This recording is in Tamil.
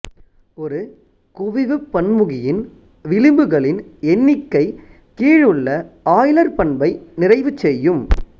ஒரு குவிவுப் பன்முகியின் விளிம்புகளின் எண்ணிக்கை கீழுள்ள ஆய்லர் பண்பை நிறைவு செய்யும்